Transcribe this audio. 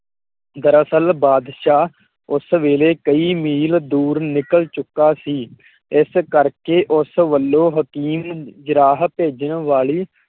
ਦਰਸਲ ਬਾਦਸ਼ਾਹ ਉਸ ਵੇਲੇ ਕਈ ਮੀਲ ਦੂਰ ਨਿਕਲ ਚੁੱਕਾ ਸੀ। ਇਸ ਕਰਕੇ ਉਸ ਵੱਲੋਂ ਹਕੀਮ ਜਰਾਹ ਭੇਜਣ ਵਾਲੀ